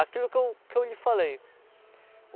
Aquilo que eu que eu lhe falei.